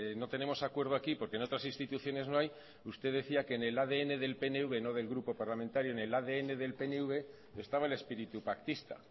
no tenemos acuerdo aquí porque en otras instituciones no hay usted decía que en el adn del pnv no del grupo parlamentario estaba el espíritu pactista